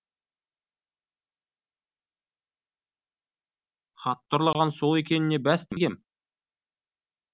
хатты ұрлаған сол екеніне бәс тігем